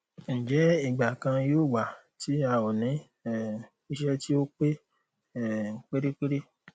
ǹjẹ ìgbà kankan yóò wà tí a ó ní um iṣẹ tí ó pé um pérépéré